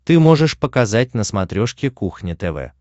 ты можешь показать на смотрешке кухня тв